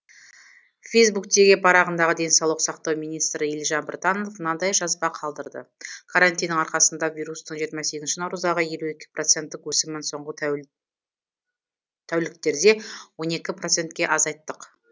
фейсбуктегі парағында денсаулық сақтау министрі елжан біртанов мынадай жазба қалдырды карантиннің арқасында вирустың жиырма сегізінші наурыздағы елу екі проценттік өсімін соңғы тәуліктерде он екі процентке азайттық